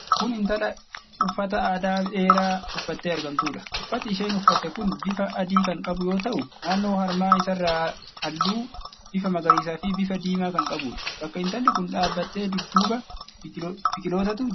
Kun intala uffata aadaa dheeraa uffattee argamtuudha. Uffati isheen uffatte kun bifa adii kan qabu yoo ta'u, naannoo harma isaarra hallu bifa magariisaa fi bifa diimaa kan qabuudha. Bakka intalli kun dhaabatte dudduuba biqilootatu jira.